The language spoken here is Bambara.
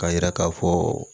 K'a yira k'a fɔ